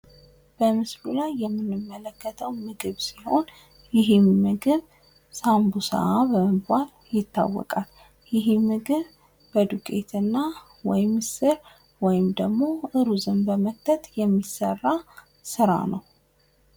በምስሉ ላይ የምንመለከተው ምግብ ሲሆን ይህ ምግብ ሳምቡሳ በመባል ይታወቃል ።ይሄ ምግብ በዱቄትና ወይ ምስር ወይም ደግሞ ሩዝን በመክተት የሚሰራ ስራ ነው።